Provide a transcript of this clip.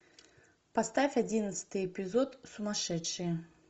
поставь одиннадцатый эпизод сумасшедшие